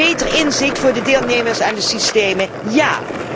Beter inzicht voor de deelnemers aan de systemen ja!